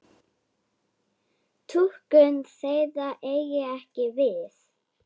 Túlkun þeirra eigi ekki við.